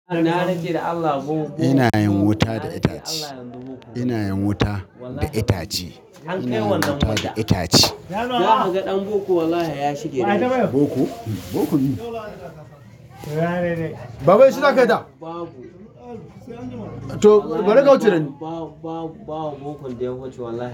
Ina yin wuta da itace. Ina yin wuta da itace. Ina yin wuta da itace. Zan ga ɗan boko wallahi ya shige ni. Boko? Boko mi? Baba shi za kau ta? Babu. Babu bokon da ya wuce wallahi.